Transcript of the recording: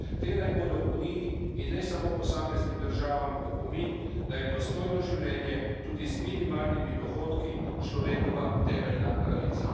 Te naj bodo Uniji, in ne samo posameznim državam, opomin, da je dostojno življenje, tudi z minimalnimi dohodki, človekova temeljna pravica.